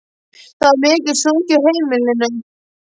Það var mikið sungið á heimilinu.